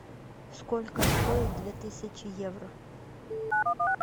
сколько стоит две тысячи евро